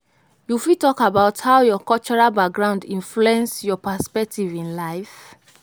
You fit talk about how your cultural background influence your perspective in life.